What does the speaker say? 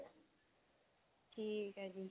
ਠੀਕ ਹੈ ਜੀ